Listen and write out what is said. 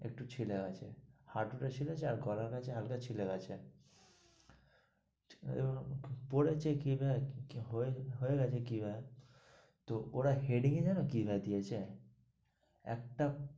একটু ছিলে গেছে, হাটু টা ছিলেছে, আর গলার কাছে হালকা ছিলে গেছে, ঠিক আছে পড়েছে কিভাবে হয়ে গেছে কি ভাবে, তো ওরা heading এ জানো কি লাগিয়েছে? একটা